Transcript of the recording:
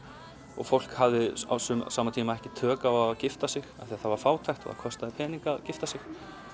og fólk hafði á sama tíma ekki tök á að gifta sig af því að það var fátækt og það kostaði peninga að gifta sig